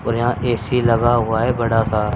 और यहां ए_सी लगा हुआ है बड़ा सा--